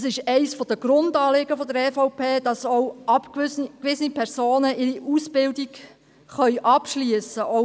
Es ist eines der Grundanliegen der EVP, dass auch ausgewiesene Personen ihre Ausbildung abschliessen können.